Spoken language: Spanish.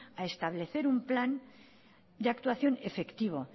a establecer un plan de actuación efectivo